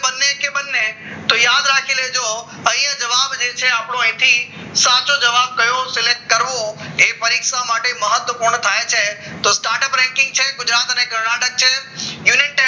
કે બંને કે બંને તો યાદ રાખી લેજો અહીંયા જવાબ છે આપણો સાચો જવાબ કયો select કરવો એ પરીક્ષા માટે મહત્વપૂર્ણ થાય છે તો startup banking છે ગુજરાત કર્ણાટક છે